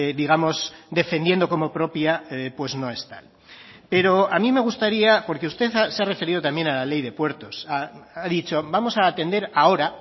digamos defendiendo como propia no es tal pero a mí me gustaría porque usted se ha referido también a la ley de puertos ha dicho vamos a atender ahora